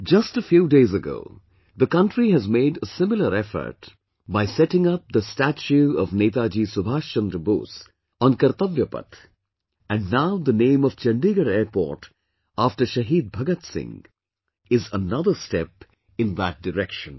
Just a few days ago, the country has made a similar effort by setting up the statue of Netaji Subhas Chandra Bose on Kartavya Path and now the name of Chandigarh Airport after Shaheed Bhagat Singh is another step in that direction